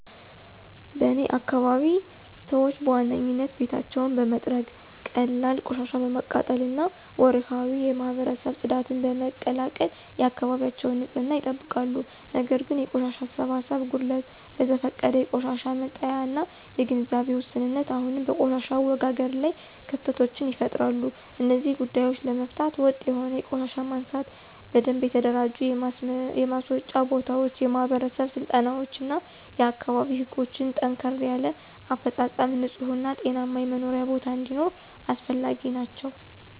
በእኔ አካባቢ ሰዎች በዋናነት ቤታቸውን በመጥረግ፣ ቀላል ቆሻሻ በማቃጠል እና ወርሃዊ የማህበረሰብ ጽዳትን በመቀላቀል የአካባቢያቸውን ንፅህና ይጠብቃሉ። ነገር ግን የቆሻሻ አሰባሰብ ጉድለት፣ በዘፈቀደ የቆሻሻ መጣያ እና የግንዛቤ ውስንነት አሁንም በቆሻሻ አወጋገድ ላይ ክፍተቶችን ይፈጥራሉ። እነዚህን ጉዳዮች ለመፍታት ወጥ የሆነ የቆሻሻ ማንሳት፣ በደንብ የተደራጁ የማስወጫ ቦታዎች፣ የማህበረሰብ ስልጠናዎች እና የአካባቢ ህጎችን ጠንከር ያለ አፈፃፀም ንፁህ እና ጤናማ የመኖሪያ ቦታ እንዲኖር አስፈላጊ ናቸው።